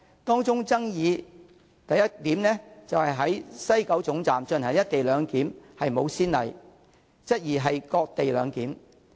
當中爭議之一是在西九站進行"一地兩檢"沒有先例，質疑是"割地兩檢"。